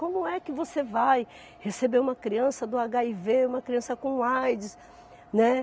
Como é que você vai receber uma criança do agáivê, uma criança com aides, né?